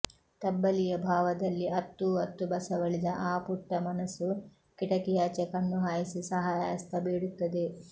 ತಬ್ಬಲಿಯ ಭಾವದಲ್ಲಿ ಅತ್ತೂ ಅತ್ತೂ ಬಸವಳಿದ ಆ ಪುಟ್ಟ ಮನಸ್ಸು ಕಿಟಕಿಯಾಚೆ ಕಣ್ಣು ಹಾಯಿಸಿ ಸಹಾಯ ಹಸ್ತ ಬೇಡುತ್ತದೆ